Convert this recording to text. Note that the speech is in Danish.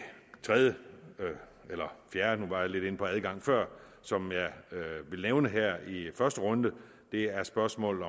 tredje eller fjerde nu var jeg lidt inde på adgang før som jeg vil nævne her i første runde er spørgsmålet